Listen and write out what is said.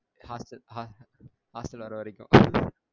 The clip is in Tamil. Hostel hostel hostel வர வரைக்கும்